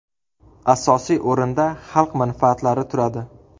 Asosiy o‘rinda xalq manfaatlari turadi.